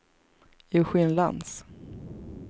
Eugén Lantz